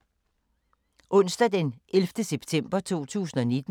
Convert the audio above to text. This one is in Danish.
Onsdag d. 11. september 2019